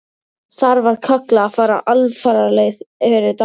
Þar var kallað að fara alfaraleið fyrir dal.